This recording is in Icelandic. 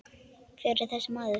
Hver var þessi maður?